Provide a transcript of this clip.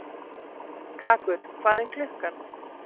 Karkur, hvað er klukkan?